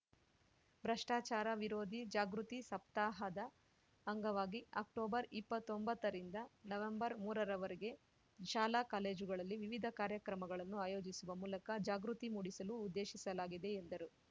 ಭ್ರಷ್ಟಾಚಾರ ವಿರೋಧಿ ಜಾಗೃತಿ ಸಪ್ತಾಹದ ಅಂಗವಾಗಿ ಅಕ್ಟೋಬರ್‌ ಇಪ್ಪತ್ತೊಂಬತ್ತರಿಂದ ನವಂಬರ್‌ ಮೂರರ ವರೆಗೆ ಶಾಲಾ ಕಾಲೇಜುಗಳಲ್ಲಿ ವಿವಿಧ ಕಾರ್ಯಕ್ರಮಗಳನ್ನು ಆಯೋಜಿಸುವ ಮೂಲಕ ಜಾಗೃತಿ ಮೂಡಿಸಲು ಉದ್ದೇಶಿಸಲಾಗಿದೆ ಎಂದರು